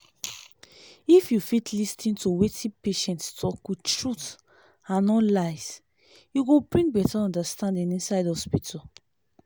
if you fit lis ten to wetin patient talk wit truth and no lies e go bring beta understanding inside hospital.